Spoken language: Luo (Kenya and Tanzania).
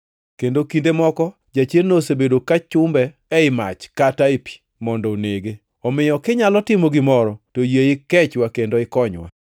Kendo kinde moko jachiendno osebedo ka chumbe ei mach kata e pi, mondo onege. Omiyo kinyalo timo gimoro to yie ikechwa kendo ikonywa.”